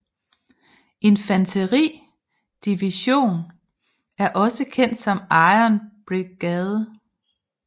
Infanteri Division er også kendt som Iron Brigade